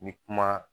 N bɛ kuma